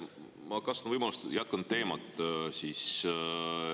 Ma kasutan võimalust ja jätkan teemat.